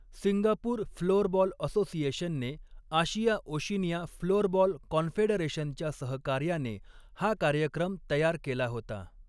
Singapore floorball असोसिएशनने Asia Oceania floorball कॉन्फेडरेशनच्या सहकार्याने हा कार्यक्रम तयार केला होता.